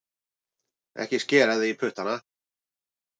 Ekki skera þig í puttana